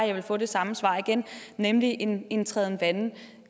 jeg få det samme svar igen nemlig en en træden vande